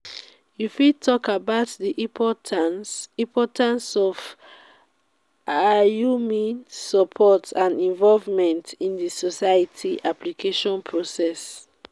you fit talk about di importance importance of alumni support and involvement in di scholarship application process.